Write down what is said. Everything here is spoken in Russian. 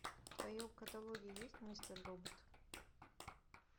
в твоем каталоге есть мистер робот